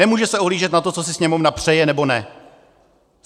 Nemůže se ohlížet na to, co si Sněmovna přeje, nebo ne.